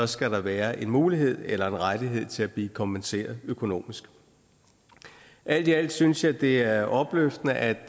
skal der være en mulighed eller en rettighed til at blive kompenseret økonomisk alt i alt synes jeg det er opløftende at